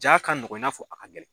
Jaa ka nɔgɔn i n'a fɔ a ka gɛlɛn.